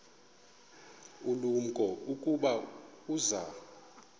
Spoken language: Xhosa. ulumko ukuba uza